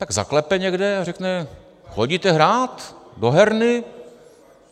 Tak zaklepe někde a řekne: Chodíte hrát do herny?